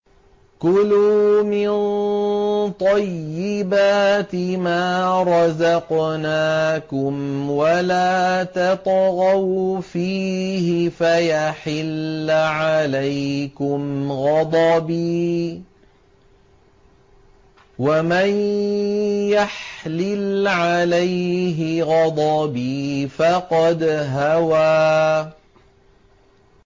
كُلُوا مِن طَيِّبَاتِ مَا رَزَقْنَاكُمْ وَلَا تَطْغَوْا فِيهِ فَيَحِلَّ عَلَيْكُمْ غَضَبِي ۖ وَمَن يَحْلِلْ عَلَيْهِ غَضَبِي فَقَدْ هَوَىٰ